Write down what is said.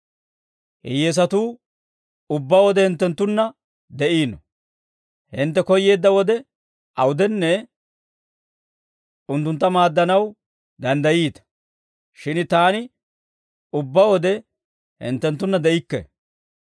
Hiyyeesatuu ubbaa wode hinttenttunna de'iino; hintte koyyeedda wode awudenne unttuntta maaddanaw danddayiita; shin taani ubbaa wode hinttenttunna de'ikke.